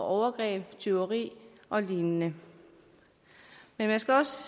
overgreb tyveri og lignende men man skal også